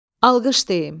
Alqış deyim.